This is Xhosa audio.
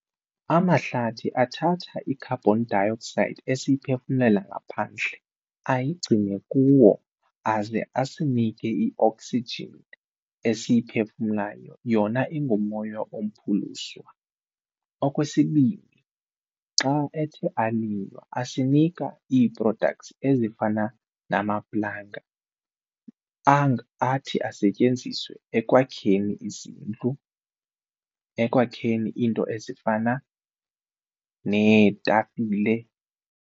Amahlathi athatha i-carbon dioxide esiyiphefumlela ngaphandle ayigcine kuwo aze asinike i-oxygen esiyiphefumlayo yona ingumoya ompuluswa. Okwesibini, xa ethe alinywa asinika ii-products ezifana namaplanga anga athi asetyenziswe ekwakheni izindlu, ekwakheni iinto ezifana neetafile.